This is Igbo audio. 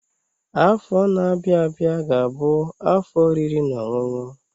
Afọ na-abịa abịa ga-abụ afọ oriri na ọṅụṅụ